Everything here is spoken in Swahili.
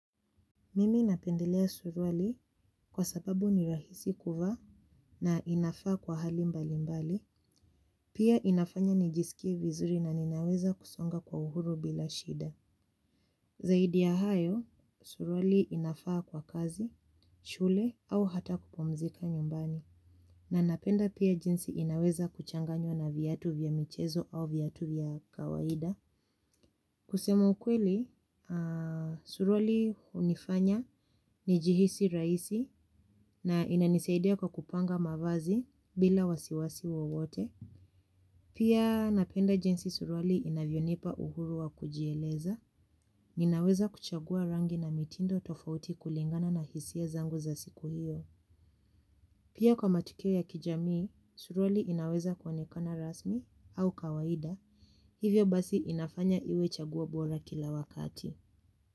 Mimi napendelea suruali kwa sababu ni rahisi kuvaa na inafaa kwa hali mbali mbali, pia inafanya nijisikie vizuri na ninaweza kusonga kwa uhuru bila shida. Zaidi ya hayo, suruali inafaa kwa kazi, shule au hata kupumzika nyumbani, na napenda pia jinsi inaweza kuchanganywa na viatu vya michezo au viatu vya kawaida. Kusema ukweli, suruali hunifanya nijihisi rahisi na inanisaidia kwa kupanga mavazi bila wasiwasi wowote. Pia napenda jinsi suruali inavyonipa uhuru wa kujieleza, ninaweza kuchagua rangi na mitindo tofauti kulingana na hisia zangu za siku hiyo. Pia kwa matukio ya kijamii, suruali inaweza kuonekana rasmi au kawaida, hivyo basi inafanya iwe chaguo bora kila wakati.